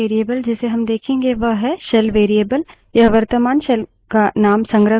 प्रथम environment variable जिसे हम देखेंगे वह है shell variable